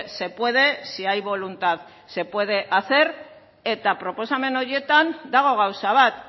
se puede si hay voluntad se puede hacer eta proposamen horietan dago gauza bat